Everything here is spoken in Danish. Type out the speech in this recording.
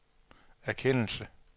erkendelse